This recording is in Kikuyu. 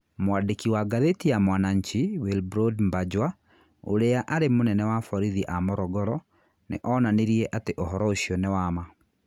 Mwandĩki wa ngathĩti ya Mwananchi, Wilbroad Mbanjwa, ũrĩa arĩ mũnene wa borithi a Morogoro, nĩ onanirie atĩ ũhoro ũcio nĩ wa ma.